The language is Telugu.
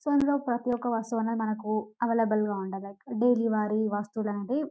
సో ఇందిలో ప్రతియొక్క వస్తువు అనేది మనకు అవైలబుల్ గా ఉంటాయి డైలీ వాడే వస్తువు --